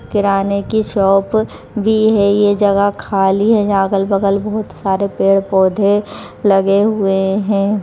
किराने की शॉप भी है ये जगह खाली है जहा अगल-बगल बहुत सारे पेड़ पौधे लगे हुए हैं।